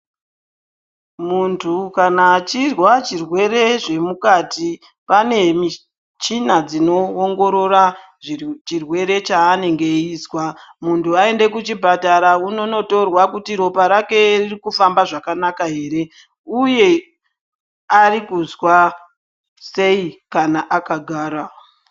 Muntu kana achirwa chirwere zvemukati pane michina dzinoongorora chirwere chaanenge eizwa. Muntu aende kuchipatara ononotorwa kuti ropa rake ririkufamba zvakanaka ere. Uye arikuzwa sei kana akagara.